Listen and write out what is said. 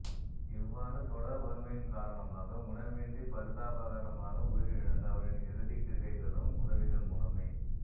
இவ்வாறு தொடர் வறுமையின் காரணமாக உணவின்றிப் பரிதாபகரமாக உயிரிழந்த அவரின் இறுதிக் கிரிகைகளும் உதவிகள் மூலமே